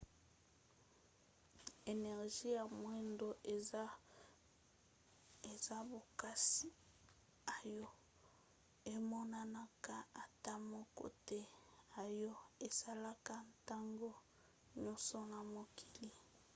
energie ya moindo eza bokasi oyo emonanaka ata moke te oyo esalaka ntango nyonso na mokili